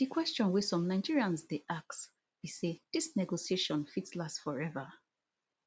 di question wey some nigerians dey ask be say dis negotiation fit last forever